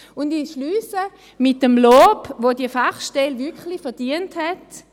Ich schliesse mit dem Lob, das diese Fachstelle wirklich verdient hat.